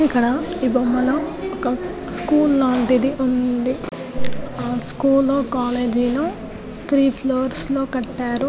ఇక్కడ ఈ బొమ్మ లో ఒక స్కూల్ లాంటిది ఉంది ఆ స్కూల్ కాలేజీ లో త్రీ ఫ్లోర్స్ లో కట్టారు .